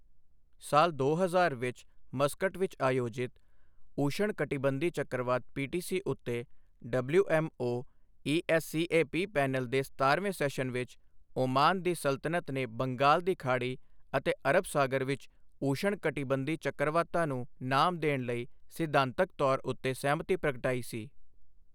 ਸਾਲ ਦੋ ਹਜ਼ਾਰ ਵਿੱਚ ਮਸਕਟ ਵਿੱਚ ਆਯੋਜਿਤ ਊਸ਼ਣ ਕਟੀਬੰਧੀ ਚੱਕਰਵਾਤ ਪੀਟੀਸੀ ਉੱਤੇ ਡਬਲਿਊਐੱਮਓ ਈਐੱਸਸੀਏਪੀ ਪੈਨਲ ਦੇ ਸਤਾਰਵੇਂ ਸੈਸ਼ਨ ਵਿੱਚ ਓਮਾਨ ਦੀ ਸਲਤਨਤ ਨੇ ਬੰਗਾਲ ਦੀ ਖਾੜੀ ਅਤੇ ਅਰਬ ਸਾਗਰ ਵਿੱਚ ਊਸ਼ਣ ਕਟੀਬੰਧੀ ਚੱਕਰਵਾਤਾਂ ਨੂੰ ਨਾਮ ਦੇਣ ਲਈ ਸਿਧਾਂਤਕ ਤੌਰ ਉੱਤੇ ਸਹਿਮਤੀ ਪ੍ਰਗਟਾਈ ਸੀ।